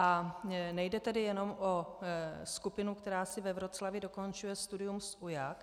A nejde tedy jenom o skupinu, která si ve Wroclawi dokončuje studium z UJAK.